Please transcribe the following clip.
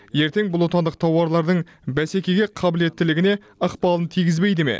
ертең бұл отандық тауарлардың бәсекеге қабілеттілігіне ықпалын тигізбейді ме